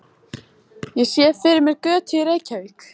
Ég sé fyrir mér götu í Reykjavík.